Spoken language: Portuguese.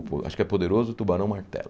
Acho que é Poderoso, Tubarão Martelo.